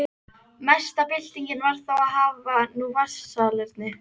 Mesta byltingin var þó að hafa nú vatnssalerni.